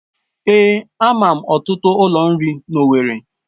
Èé, ama m ọtụtụ ụlọ nri n'Owerri